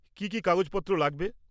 কী কী কাগজপত্র লাগবে?